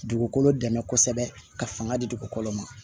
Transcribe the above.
Dugukolo dɛmɛ kosɛbɛ ka fanga di dugukolo ma